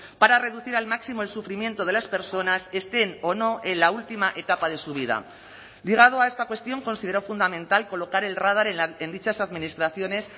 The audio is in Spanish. para reducir al máximo el sufrimiento de las personas estén o no en la última etapa de su vida ligado a esta cuestión considero fundamental colocar el radar en dichas administraciones